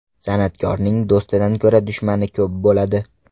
San’atkorning do‘stidan ko‘ra dushmani ko‘p bo‘ladi.